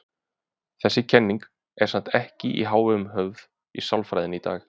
Þessi kenning er samt ekki í hávegum höfð í sálfræðinni í dag.